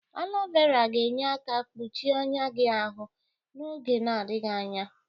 Alo vera ga-enye aka kpọche ọnya gi ahụ n'oge na-adịghị anya.